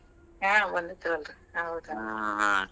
ಹಾ ಬಂದಿದ್ರಂತ ಹೌದ .